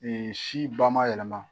si ba ma yɛlɛma